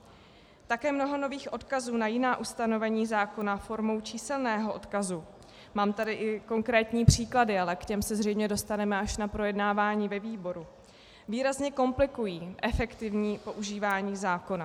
Také mnoho nových odkazů na jiná ustanovení zákona formou číselného odkazu - mám tady i konkrétní příklady, ale k těm se zřejmě dostaneme až na projednávání ve výboru - výrazně komplikují efektivní používání zákona.